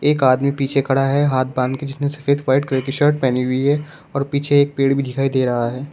एक आदमी पीछे खड़ा है हाथ बांध के जिसने सफेद व्हाइट कलर की शर्ट पहनी हुई है और पीछे एक पेड़ भी दिखाई दे रहा है।